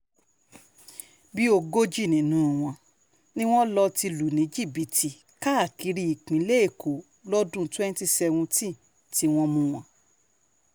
bíi ogójì nínú wọn ni wọ́n lọ ti lù ní jìbìtì káàkiri ìpínlẹ̀ èkó lọ́dún twenty seventeen tí wọ́n mú un